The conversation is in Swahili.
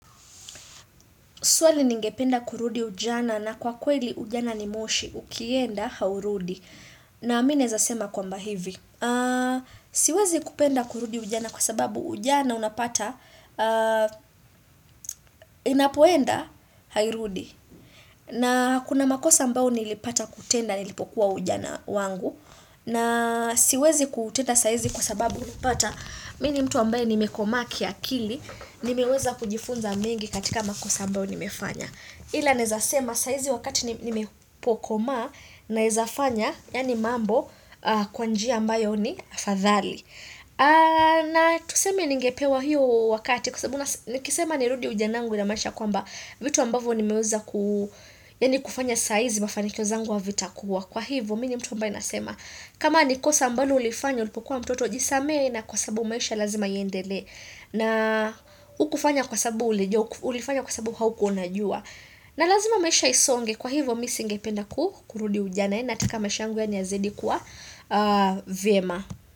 Swali ningependa kurudi ujana na kwa kweli ujana ni moshi ukienda haurudi. Na mi naezasema kwamba hivi. Siwezi kupenda kurudi ujana kwa sababu ujana unapata inapoenda hairudi. Na kuna makosa ambao nilipata kutenda nilipokuwa ujana wangu. Na siwezi kuutenda saa hizi kwa sababu unapata mi ni mtu ambaye nimekomaa kiakili. Nimeweza kujifunza mengi katika makosa ambayo nimefanya. Ila naezasema saa hizi wakati nimepokomaa naezafanya, yaani mambo, kwa njia ambayo ni afadhali. Na tuseme ningepewa hiyo wakati, kwa sabubu nikisema nirudi ujana wangu namaanisha kwamba vitu ambavyo nimeweza ku, yaani kufanya saa hizi mafanikio zangu havitakuwa. Kwa hivyo, mi ni mtu ambaye nasema. Kama ni kosa ambalo ulifanya ulipokuwa mtoto jisamehe na kwa sababu maisha lazima iendelee. Na hukufanya kwa sababu ulifanya kwa sababu haukuwa unajua. Na lazima maisha isonge kwa hivyo mi singependa ku kurudi ujana yaani nataka maisha yangu yaani yazidikuwa vyema.